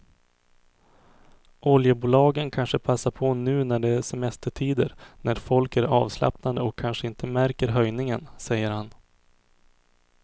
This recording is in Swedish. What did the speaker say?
Oljebolagen kanske passar på nu när det är semestertider när folk är avslappnade och kanske inte märker höjningen, säger han.